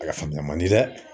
A faamuya man di dɛ